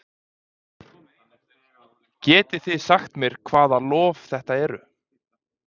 Getið þið sagt mér hvaða lof þetta eru?